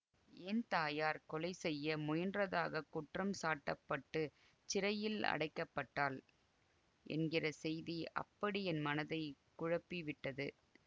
என் தாயார் கொலை செய்ய முயன்றதாகக் குற்றம் சாட்டப்பட்டுச் சிறையில் அடைக்கப்பட்டாள் என்கிற செய்தி அப்படி என் மனதை குழப்பி விட்டது